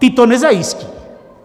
Ty to nezajistí.